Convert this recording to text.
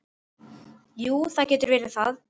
Jú, það getur verið það.